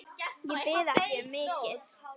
Ég bið ekki um mikið.